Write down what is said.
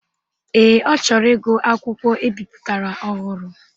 Ee, ọ chọrọ ịgụ akwụkwọ ebiputara ọhụrụ.